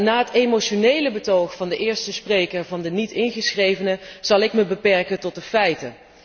Na het emotionele betoog van de eerste spreker van de Niet ingeschrevenen zal ik mij beperken tot de feiten.